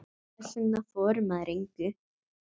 Þess vegna þorir maður engu.